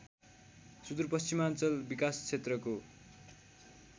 सुदूरपश्चिमाञ्चल विकास क्षेत्रको